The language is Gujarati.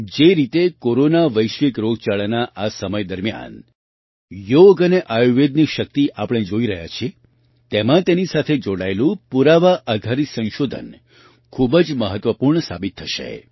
જે રીતે કોરોના વૈશ્વિક રોગચાળાના આ સમય દરમિયાન યોગ અને આયુર્વેદની શક્તિ આપણે જોઈ રહ્યા છીએ તેમાં તેની સાથે જોડાયેલું પુરાવા આધારિત સંશોધન ખૂબ જ મહત્ત્ત્વપૂર્ણ સાબિત થશે